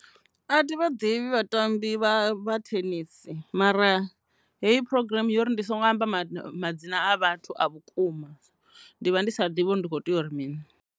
A thi vha ḓivhi vhatambi vha thenisi mara heyi programm yori ndi songo amba madzina a vhathu a vhukuma ndi vha ndi sa ḓivhi uri ndi kho tea uri mini.